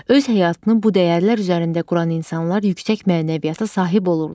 Öz həyatını bu dəyərlər üzərində quran insanlar yüksək mənəviyyata sahib olurlar.